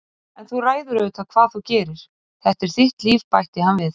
En þú ræður auðvitað hvað þú gerir, þetta er þitt líf- bætti hann við.